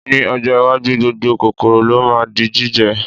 Ní ọjọ́ iwájú, gbogbo kòkòrò ló ma di jíjẹ